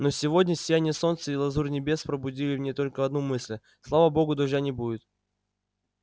но сегодня сияние солнца и лазурь небес пробудили в ней только одну мысль слава богу дождя не будет